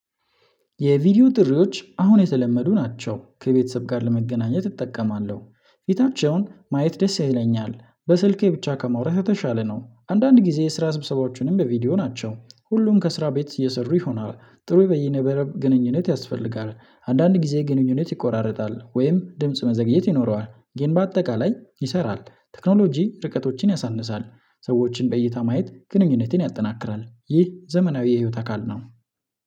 የቪዲዮ ጥሪዎች አሁን የተለመዱ ናቸው ከቤተሰብ ጋር ለመገናኘት እጠቀማለሁ ፊታቸውን ማየት ደስ ይለኛል በስልኬ ብቻ ከማውራት የተሻለ ነው። አንዳንድ ጊዜ የስራ ስብሰባዎችንም በቪዲዮ ናቸው ሁሉም ከስራ ቤት እየሰሩ ይሆናል። ጥሩ በየነበረብ ግንኙነት ያስፈልጋል። አንዳንድ ጊዜ ግንኙነት ይቆራረጣል ወይም ድምጽ መዘግየት ይኖረዋል ግን በአጠቃላይ ይሰራል። ቴክኖሎጂ ርቀቶችን ያሳንሳል። ሰዎችን በእይታ ማየት ግንኙነቴን ያጠናክራል ይህ ዘመናዊ የህይወት አካል ነው